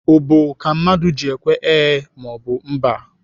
Ubu ka mmadụ ji ekwe ee maọbụ mba.